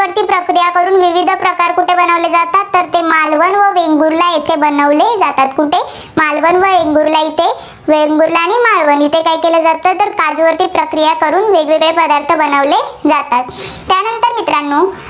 ते मालवण व वेंगुर्ला येथे बनवले जातात. कुठे मालवण व वेंगुर्ला येथे. वेंगुर्ला व मालवण येथे काय केले जाते? तर काजूवर प्रक्रिया करून वेगवेगळे पदार्थ बनवले जातात. त्यानंतर मित्रांनो